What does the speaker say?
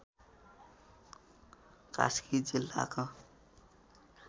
कास्की जिल्लाको